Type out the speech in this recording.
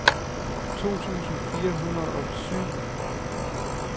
to tusind fire hundrede og syv